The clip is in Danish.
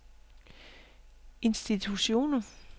institutioner